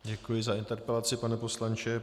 Děkuji za interpelaci, pane poslanče.